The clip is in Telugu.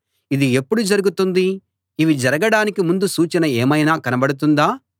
ఇది ఎప్పుడు జరుగుతుంది ఇవి జరగడానికి ముందు సూచన ఏమైనా కనబడుతుందా